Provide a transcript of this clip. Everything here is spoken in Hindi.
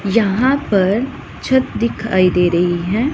यहां पर छत दिखाई दे रही है।